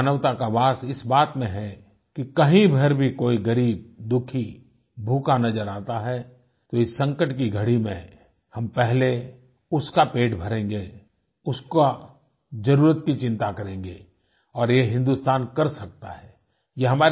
हमारी मानवता का वास इस बात मे है कि कहीं पर भी कोई ग़रीब दुखी भूखा नज़र आता है तो इस संकट की घड़ी में हम पहले उसका पेट भरेंगे उसका जरूरत की चिंता करेंगे और ये हिंदुस्तान कर सकता है